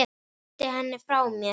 Ýti henni frá mér.